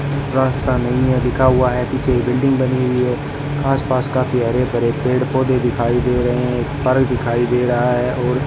रास्ता नहीं है लिखा हुआ है कुछ बिल्डिंग बनी हुई है आसपास काफी हरे भरे पेड़ पौधे दिखाई दे रहे हैं घर दिखाई दे रहा है और --